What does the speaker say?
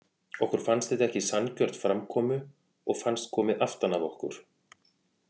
Okkur fannst þetta ekki sanngjörn framkomu og fannst komið aftan að okkur.